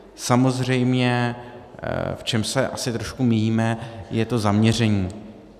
Samozřejmě, v čem se asi trošku míjíme, je to zaměření.